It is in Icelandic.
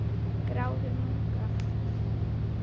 Gráður munka